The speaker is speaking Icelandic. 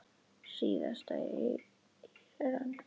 Síðast í Íran.